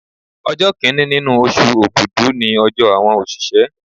Ọjọ́ Kínní nínú oṣù Ògùdú ni ọjọ́ àwọn òṣìṣẹ́.